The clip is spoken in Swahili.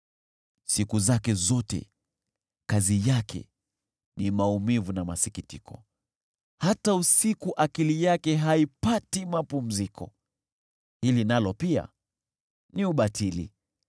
Siku zake zote kazi yake ni maumivu na masikitiko, hata usiku akili yake haipati mapumziko. Hili nalo pia ni ubatili.